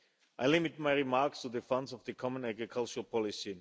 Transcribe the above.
I limit my remarks to the funds of the common agricultural policy.